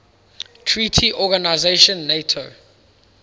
treaty organization nato